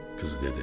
Qız dedi: